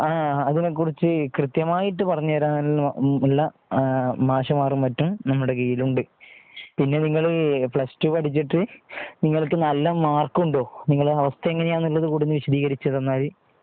അതിനെക്കുറിച്ച് കൃത്യമായിട്ട് പറഞ്ഞുതരാനും മറ്റുമുള്ള മാഷ്മാര് മറ്റും നമ്മുടെ കീഴിലുണ്ട്. പിന്നെ നിങ്ങൾ പ്ലസ് ടു പഠിച്ചിട്ട്നിങ്ങൾക്ക് നല്ല മാർക്ക് ഉണ്ടോ? നിങ്ങളുടെ അവസ്ഥ എങ്ങനെയാണെന്ന് ഉള്ളത് ഒന്നുകൂടി വിശദീകരിച്ച് തന്നാൽ.